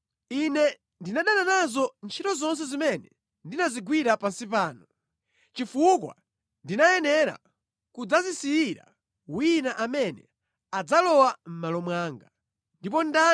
Ine ndinadana nazo ntchito zonse zimene ndinazigwira pansi pano, chifukwa ndinayenera kudzazisiyira wina amene adzalowa mʼmalo mwanga.